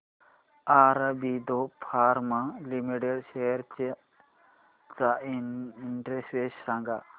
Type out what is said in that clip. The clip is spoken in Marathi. ऑरबिंदो फार्मा लिमिटेड शेअर्स चा इंडेक्स सांगा